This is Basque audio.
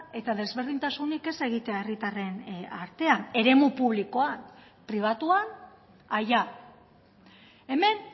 eta desberdintasunik ez egitea herritarren artean eremu publikoan pribatuan allá hemen